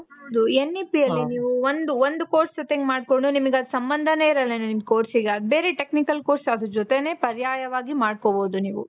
ಹೌದು N E P ಅಲ್ಲಿ ನೀವು ಒಂದು ಒಂದು course ಜೊತೆಗೆ ಮಾಡ್ಕೊಂಡು, ನಿಮಿಗೆ ಅದು ಸಂಭಂಧನೆ ಇರಲ್ಲ ನಿಮ್ course ಗೆ ಅದು ಬೇರೆ technical course ಅದ್ರು ಜೊತೆಗೆ ಪರ್ಯಾಯವಾಗಿ ಮಾಡ್ಕೋಬಹುದು ನೀವು.